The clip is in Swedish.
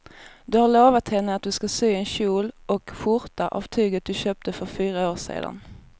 Du har lovat henne att du ska sy en kjol och skjorta av tyget du köpte för fyra år sedan.